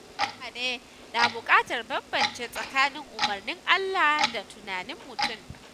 Mutane na buƙatar bambance tsakanin umarnin Allah da tunanin mutum.